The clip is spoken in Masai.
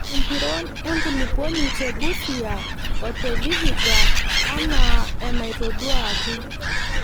Empiron enkulupuoni te Busia o te Vihiga anaaenatoduaaki.